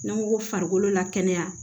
N'an ko ko farikolo la kɛnɛya